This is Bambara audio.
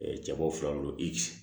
cɛbaw fila do i